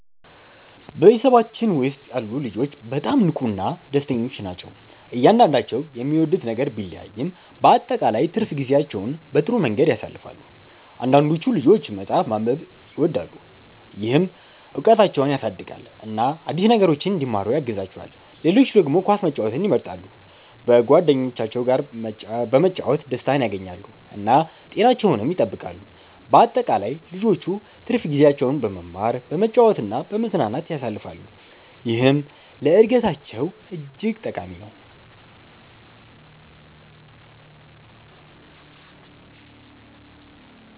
በቤተሰባችን ውስጥ ያሉ ልጆች በጣም ንቁና ደስተኞች ናቸው። እያንዳንዳቸው የሚወዱት ነገር ቢለያይም በአጠቃላይ ትርፍ ጊዜያቸውን በጥሩ መንገድ ያሳልፋሉ። አንዳንዶቹ ልጆች መጽሐፍ ማንበብን ይወዳሉ፣ ይህም እውቀታቸውን ያሳድጋል እና አዲስ ነገሮችን እንዲማሩ ያግዛቸዋል። ሌሎች ደግሞ ኳስ መጫወትን ይመርጣሉ፣ በጓደኞቻቸው ጋር በመጫወት ደስታን ያገኛሉ እና ጤናቸውንም ይጠብቃሉ። በአጠቃላይ ልጆቹ ትርፍ ጊዜያቸውን በመማር፣ በመጫወት እና በመዝናናት ያሳልፋሉ፣ ይህም ለእድገታቸው እጅግ ጠቃሚ ነው።